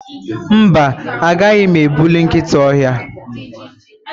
Mba, agaghi m egbuli nkịta ọhịa.